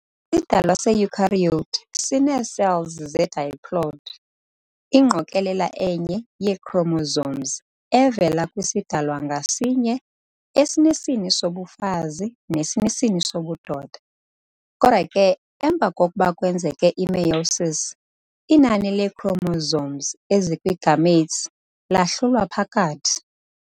idalwa se-eukaryote sinee-cells ze-diploid, ingqokolela enye yee-chromosomes evela kwisidalwa ngasinye esinesini sobufazi nesinesini sobudoda. kodwa ke emva kokuba kwenzeke i-meiosis, inani lee-chromosomes ezikwi-gametes lahlulwa phakathi.